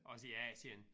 Også i Asien